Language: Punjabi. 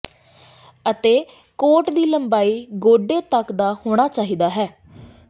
ਅਤੇ ਕੋਟ ਦੀ ਲੰਬਾਈ ਗੋਡੇ ਤੱਕ ਦਾ ਹੋਣਾ ਚਾਹੀਦਾ ਹੈ